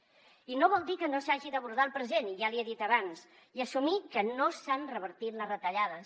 i no vol dir que no s’hagi d’abordar el present ja l’hi he dit abans i assumir que no s’han revertit les retallades